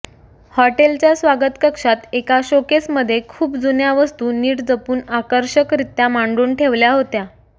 हॉटेलच्या स्वागतकक्षात एका शोकेसमध्ये खूप जुन्या वस्तू नीट जपून आकर्षकरीत्या मांडून ठेवल्या होत्या